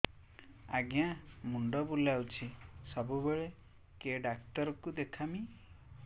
ଆଜ୍ଞା ମୁଣ୍ଡ ବୁଲାଉଛି ସବୁବେଳେ କେ ଡାକ୍ତର କୁ ଦେଖାମି